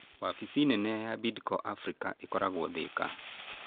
Wabici nene ya Bidco Africa ĩkoragwo Thĩka.